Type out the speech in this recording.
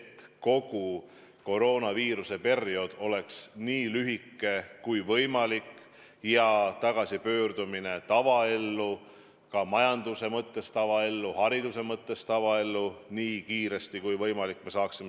Aga kogu koroonaviiruse periood peaks olema nii lühike kui võimalik ja tagasipöördumine tavaellu, ka majanduse mõttes tavaellu, hariduse mõttes tavaellu nii kiire kui võimalik.